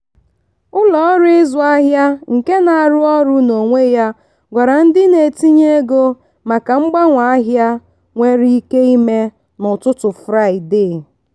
ụlọọrụ ịzụ ahịa nke na-arụ ọrụ n'onwe ya gwara ndị na-etinye ego maka mgbanwe ahịa nwere ike ime n'ụtụtụ fraịde.